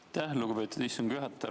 Aitäh, lugupeetud istungi juhataja!